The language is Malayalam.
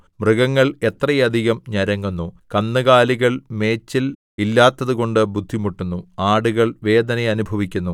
മൃഗങ്ങൾ എത്രയധികം ഞരങ്ങുന്നു കന്നുകാലികൾ മേച്ചൽ ഇല്ലാത്തതുകൊണ്ട് ബുദ്ധിമുട്ടുന്നു ആടുകൾ വേദന അനുഭവിക്കുന്നു